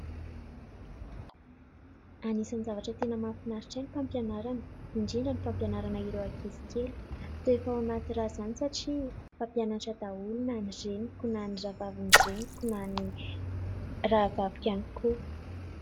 Anisan'ny zavatra tena mahafinaritra ahy ny fampianarana, indrindra ny fampianarana ireo ankizy kely. Toa efa ao anaty ra izany satria mpampianatra daholo na ny reniko na ny rahavavin-dreniko na ny rahavaviko ihany koa.